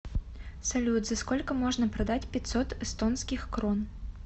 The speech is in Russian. салют за сколько можно продать пятьсот эстонских крон